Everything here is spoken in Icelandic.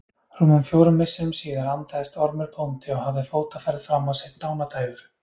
Rúmum fjórum misserum síðar andaðist Ormur bóndi og hafði fótaferð fram á sitt dánardægur.